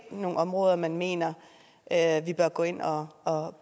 nogle områder man mener at vi bør gå ind og